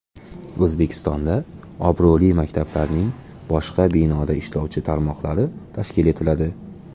O‘zbekistonda obro‘li maktablarning boshqa binoda ishlovchi tarmoqlari tashkil etiladi.